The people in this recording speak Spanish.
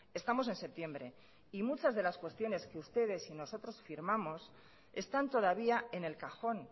estamos en septiembre y muchas de las cuestiones que ustedes y nosotros firmamos están todavía en el cajón